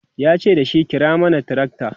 yace dashi"kira mana tracta!"